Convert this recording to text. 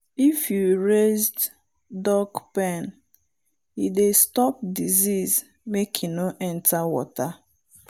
if you raised duck pen e dey stop disease make e nor enter water.